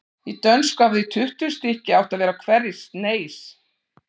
Í dönsku hafa því tuttugu stykki átt að vera á hverri sneis.